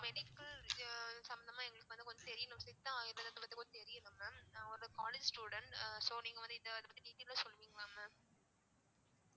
medical விஷய~ சம்பந்தமா எங்களுக்கு வந்து கொஞ்சம் தெரியணும் சித்த ஆயுர்வேத தெரியணும் mam நான் ஒரு college student அஹ் so நீங்க வந்து இதைப்பத்தி detail ஆ சொல்லுவீங்களா mam